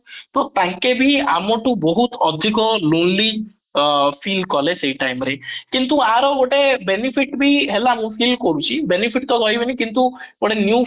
ତ ତାଙ୍କେ ବି ଆମଠୁ ବହୁତ ଅଧିକ lonely ଅଂ feel କଲେ ସେଇ time ରେ କିନ୍ତୁ ୟାର ଗୋଟେ benefit ବି ହେଲା ମୁଁ feel କରୁଛି benefit ତ ରହିବନି କିନ୍ତୁ